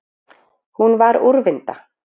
Hún var úrvinda.